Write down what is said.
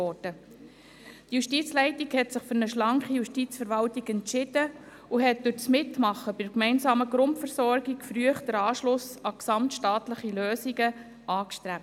Die Justizleitung hat sich für eine schlanke Justizverwaltung entschieden und hat durch das Mitmachen bei der gemeinsamen Grundversorgung früh den Anschluss an gesamtstaatliche Lösungen angestrebt.